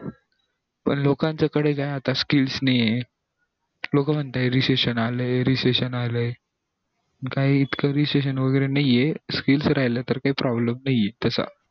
पण लोकांच्या कडे आता काय skills नाहीये लोक म्हणतंय recession आलाय recession आलाय पण काही इतकं recession वैगेरे नाहीये skills तर काही problem नाहीये तसा